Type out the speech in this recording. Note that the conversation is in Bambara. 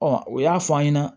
o y'a fɔ an ɲɛna